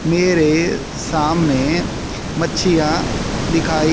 मेरे सामने मच्छीयाँ दिखाई--